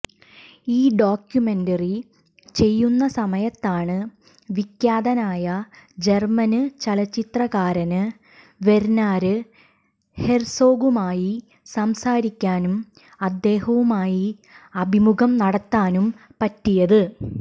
ഈ ഡോക്യുമെന്ററി ചെയ്യുന്ന സമയത്താണ് വിഖ്യാതനായ ജര്മന് ചലച്ചിത്രകാരന് വെര്ണര് ഹെര്സോഗുമായി സംസാരിക്കാനും അദ്ദേഹവുമായി അഭിമുഖം നടത്താനും പറ്റിയത്